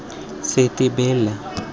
setebela